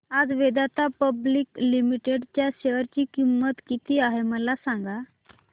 आज Vedanta public limited च्या share ची किंमत किती आहे मला सांगा